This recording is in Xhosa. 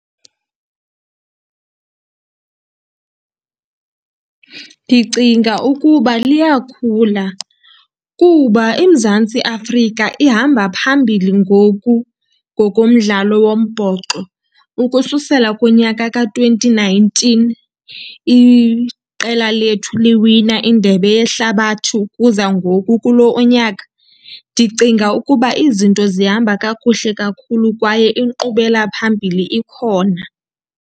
Ndicinga ukuba liyakhula kuba iMzantsi Afrika ihamba phambili ngoku ngokomdlalo wombhoxo. Ukususela kunyaka ka-twenty nineteen iqela lethu liwina iNdebe yeHlabathi ukuza ngoku kulo unyaka. Ndicinga ukuba izinto zihamba kakuhle kakhulu kwaye inkqubela phambili ikhona.